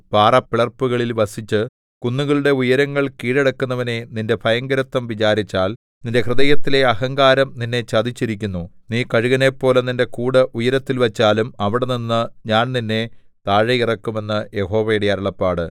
പാറപ്പിളർപ്പുകളിൽ വസിച്ച് കുന്നുകളുടെ ഉയരങ്ങൾ കീഴടക്കുന്നവനേ നിന്റെ ഭയങ്കരത്വം വിചാരിച്ചാൽ നിന്റെ ഹൃദയത്തിലെ അഹങ്കാരം നിന്നെ ചതിച്ചിരിക്കുന്നു നീ കഴുകനെപ്പോലെ നിന്റെ കൂട് ഉയരത്തിൽ വച്ചാലും അവിടെനിന്ന് ഞാൻ നിന്നെ താഴെ ഇറക്കും എന്ന് യഹോവയുടെ അരുളപ്പാട്